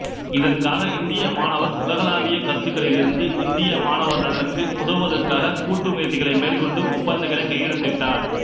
இதற்காக இந்திய மாணவர் உலகளாவிய கருத்துக்களிலிருந்து இந்திய மாணவர் நலனுக்கு உதவுவதற்காக கூட்டு முயற்சிகளை மேற்கொண்டு ஒப்பந்தங்களை கையெழுத்திட்டார்